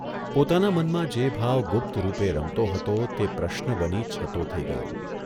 પોતાના મનમાં જે ભાવ ગુપ્તરૂપે રમતો હતો તે પ્રશ્ન બની છતો થઇ ગયો.